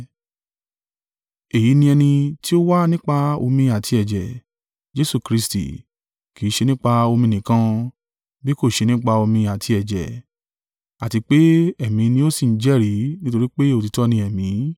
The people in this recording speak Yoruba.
Èyí ni ẹni tí ó wá nípa omi àti ẹ̀jẹ̀, Jesu Kristi, kì í ṣe nípa omi nìkan, bí kò ṣe nípa omi àti ẹ̀jẹ̀. Àti pé Ẹ̀mí ni ó sì ń jẹ́rìí, nítorí pé òtítọ́ ni Ẹ̀mí.